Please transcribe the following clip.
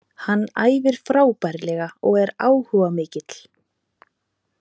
Hann æfir frábærlega og er áhugamikill.